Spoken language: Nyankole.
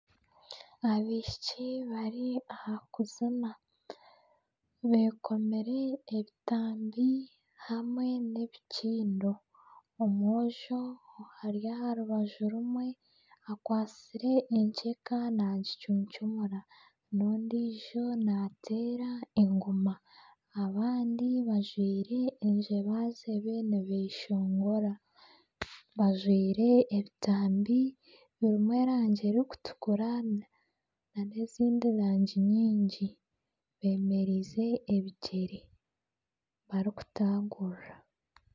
Abaishiki bari aha kuzina bekomire ebitambi hamwe n'ebikindo. Omwojo ari aha rubaju rumwe akwatsire enkyeka nagicuncumura n'ondiijo nateera engoma. Abandi bajwaire enjebajebe nibeshongora bajwaire ebitambi birimu erangi erikutukura nana ezindi rangi nyingi bemereize ebigyere barikutagurura.